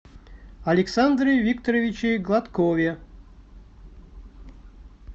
александре викторовиче гладкове